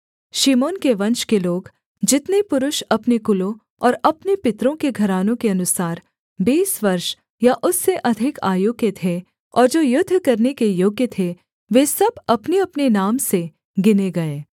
शिमोन के वंश के लोग जितने पुरुष अपने कुलों और अपने पितरों के घरानों के अनुसार बीस वर्ष या उससे अधिक आयु के थे और जो युद्ध करने के योग्य थे वे सब अपनेअपने नाम से गिने गए